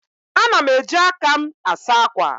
Ana m eji aka m asa akwa.